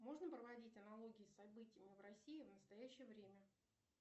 можно проводить аналогии с событиями в россии в настоящее время